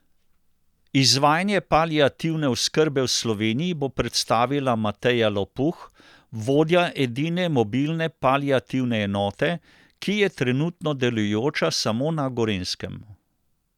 Izvajanje paliativne oskrbe v Sloveniji bo predstavila Mateja Lopuh, vodja edine mobilne paliativne enote, ki je trenutno delujoča samo na Gorenjskem.